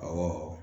Awɔ